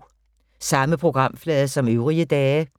Samme programflade som øvrige dage